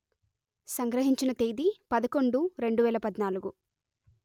సంగ్రహించిన తేదీ పదకొండు రెండు వేల పధ్నాలుగు